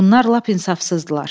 Bunlar lap insafsızdılar.